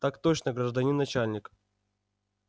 так точно гражданин начальник